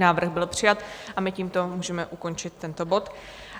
Návrh byl přijat a my tímto můžeme ukončit tento bod.